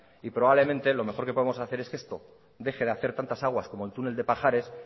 y probablemente lo mejor que podamos hacer es que esto deje hacer tantas aguas como el túnel de pajares